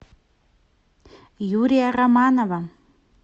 юрия романова